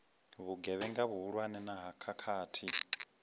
vhugevhenga vhuhulwane na ha khakhathi